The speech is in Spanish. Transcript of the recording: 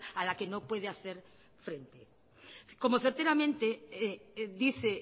a la que no puede hacer frente como certeramente dice